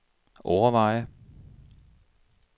overveje